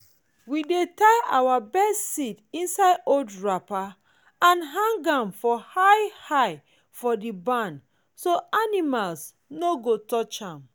we dey tie our best seeds inside old wrapper and hang am high high for the barn so animals no go touch am.